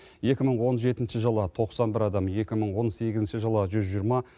екі мың он жетінші жылы тоқсан бір адам екі мың он сегізінші жылы жүз жиырма